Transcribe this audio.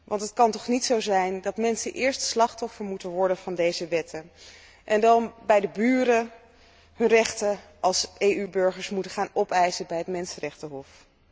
Want het kan toch niet zo zijn dat mensen eerst slachtoffer moeten worden van deze wetten en dan bij de buren hun rechten als EU burgers moeten gaan opeisen bij het Mensenrechtenhof.